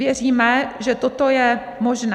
Věříme, že toto je možné.